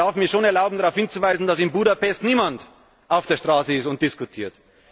Ich darf mir schon erlauben, darauf hinzuweisen, dass in Budapest niemand auf der Straße ist und diskutiert.